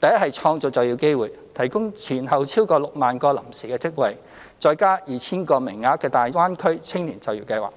第一是創造就業機會，提供前後超過 60,000 個臨時職位，再加 2,000 個名額的大灣區青年就業計劃；